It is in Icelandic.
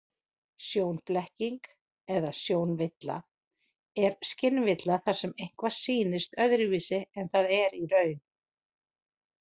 Sjónblekking eða sjónvilla er skynvilla þar sem eitthvað sýnist öðruvísi en það er í raun.